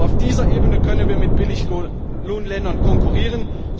Nur auf dieser Ebene können wir mit Billiglohnländern konkurrieren.